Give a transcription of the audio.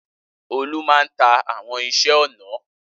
Olú máa ń ta àwọn iṣẹ́-ọnà.